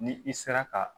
Ni i sera ka